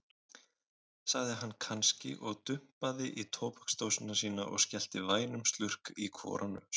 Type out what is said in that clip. sagði hann kannski og dumpaði í tóbaksdósina sína og skellti vænum slurk í hvora nös.